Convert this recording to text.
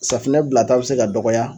Safunɛ bila ta bi se ka dɔgɔya